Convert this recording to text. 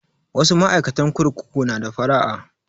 Wasu ma'aikatan kurkuku na da faraha